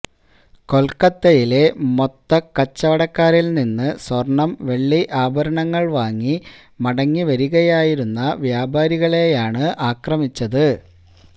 കൊല്ക്കത്തയിലെ മൊത്തക്കച്ചവടക്കാരില് നിന്ന് സ്വര്ണ്ണം വെള്ളി ആഭരണങ്ങള് വാങ്ങി മടങ്ങി വരികയായിരുന്ന വ്യാപാരികളെയാണ് ആക്രമിച്ചത്